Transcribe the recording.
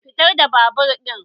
Fita da babur ɗin!